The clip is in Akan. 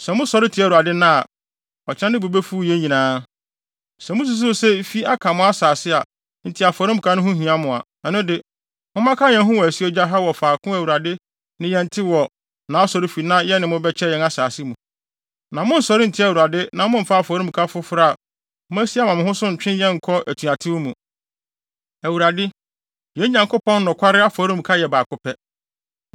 Sɛ mususuw sɛ efi aka mo asase enti afɔremuka ho hia mo a, ɛno de, mommɛka yɛn ho wɔ asuogya ha wɔ faako a Awurade ne yɛn te wɔ nʼAsɔrefi na yɛne mo bɛkyɛ yɛn asase mu. Na monnsɔre ntia Awurade na mommfa afɔremuka foforo a moasi ama mo ho so ntwe yɛn nkɔ atuatew mu. Awurade, yɛn Nyankopɔn nokware afɔremuka yɛ baako pɛ.